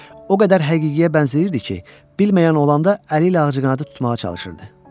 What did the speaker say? O qədər həqiqiyə bənzəyirdi ki, bilməyən olanda əli ilə ağcaqanadı tutmağa çalışırdı.